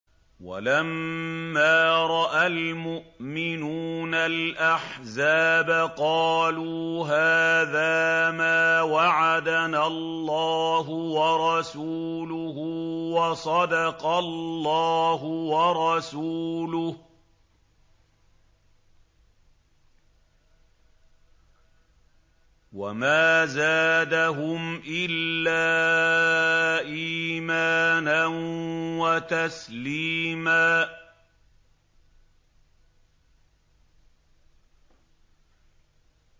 وَلَمَّا رَأَى الْمُؤْمِنُونَ الْأَحْزَابَ قَالُوا هَٰذَا مَا وَعَدَنَا اللَّهُ وَرَسُولُهُ وَصَدَقَ اللَّهُ وَرَسُولُهُ ۚ وَمَا زَادَهُمْ إِلَّا إِيمَانًا وَتَسْلِيمًا